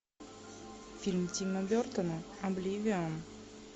фильм тима бертона обливион